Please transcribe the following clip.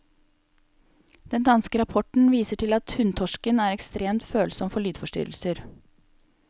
Den danske rapporten viser til at hunntorsken er ekstremt følsom for lydforstyrrelser.